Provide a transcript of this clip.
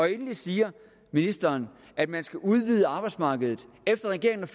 endelig siger ministeren at man skal udvide arbejdsmarkedet men regeringen